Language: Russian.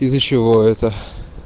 из-за чего это